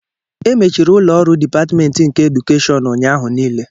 E mechiri ụlọ ọrụ Dipatmentị nke Edukeshịon ụnyahụ niile